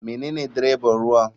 Menene dreban ruwa.